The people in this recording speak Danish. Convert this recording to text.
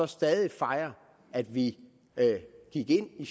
stadig fejre at vi gik ind i